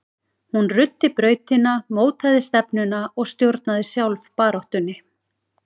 Hún ruddi brautina, mótaði stefnuna og stjórnaði sjálf baráttunni.